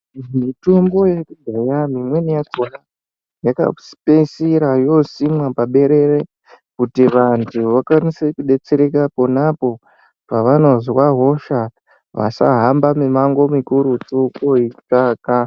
Mitombo yekudhaya mimweni yakona yakapedzisira yosimwa paberere kuti vantu vakwanise kudetsereka ponapo pavanozwa hosha vasahamba mimango mikurutu veitsvaka.